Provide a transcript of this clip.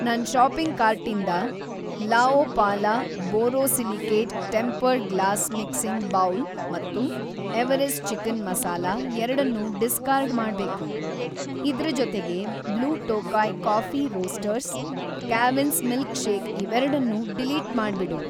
ನನ್‌ ಷಾಪಿಂಗ್‌ ಕಾರ್ಟಿಂದ La Opala borosilicate tempered glass mixing bowl ಮತ್ತು ಎವರೆಸ್ಟ್ ಚಿಕನ್‌ ಮಸಾಲಾ ಎರಡನ್ನೂ ಡಿಸ್ಕಾರ್ಡ್‌ ಮಾಡ್ಬೇಕು. ಇದ್ರ ಜೊತೆಗೆ Blue Tokai Coffee Roasters, Cavin's milkshake ಇವೆರಡ್ನೂ ಡಿಲೀಟ್‌ ಮಾಡ್ಬಿಡು.